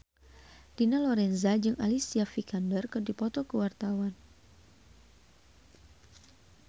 Dina Lorenza jeung Alicia Vikander keur dipoto ku wartawan